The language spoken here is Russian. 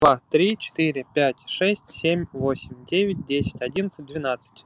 два три четыре пять шесть семь восемь девять десять одиннадцать двеннадцать